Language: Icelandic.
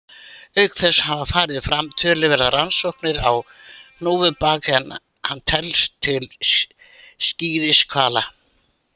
Auk þess hafa farið fram töluverðar rannsóknir á hnúfubak en hann telst til skíðishvala.